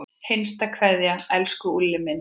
HINSTA KVEÐJA Elsku Úlli minn.